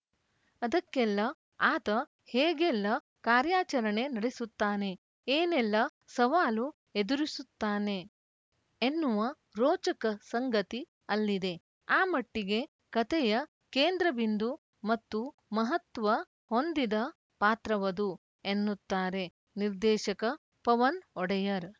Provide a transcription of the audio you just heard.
ಅದಕ್ಕೆಲ್ಲ ಆತ ಹೇಗೆಲ್ಲ ಕಾರ್ಯಚರಣೆ ನಡೆಸುತ್ತಾನೆ ಏನೆಲ್ಲ ಸವಾಲು ಎದುರಿಸುತ್ತಾನೆ ಎನ್ನುವ ರೋಚಕ ಸಂಗತಿ ಅಲ್ಲಿದೆ ಆ ಮಟ್ಟಿಗೆ ಕತೆಯ ಕೇಂದ್ರ ಬಿಂದು ಮತ್ತು ಮಹತ್ವ ಹೊಂದಿದ ಪಾತ್ರವದು ಎನ್ನುತ್ತಾರೆ ನಿರ್ದೇಶಕ ಪವನ್‌ ಒಡೆಯರ್‌